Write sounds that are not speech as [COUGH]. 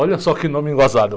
Olha só que nome. [UNINTELLIGIBLE]